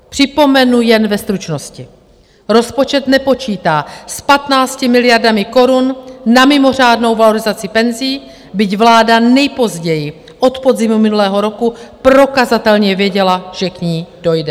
Připomenu jen ve stručnosti: Rozpočet nepočítá s 15 miliardami korun na mimořádnou valorizaci penzí, byť vláda nejpozději od podzimu minulého roku prokazatelně věděla, že k ní dojde.